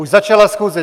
Už začala schůze.